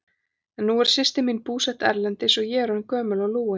En nú er systir mín búsett erlendis og ég orðin gömul og lúin.